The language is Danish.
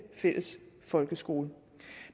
folkeskole